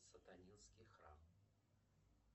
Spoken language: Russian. сатанинский храм